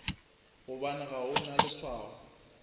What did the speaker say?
gobane ga o na leswao